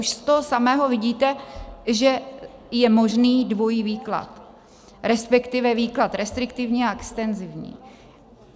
Už z toho samého vidíte, že je možný dvojí výklad, respektive výklad restriktivní a extenzivní.